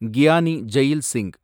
Giani Zail Singh